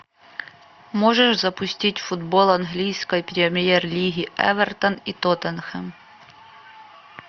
можешь запустить футбол английской премьер лиги эвертон и тоттенхэм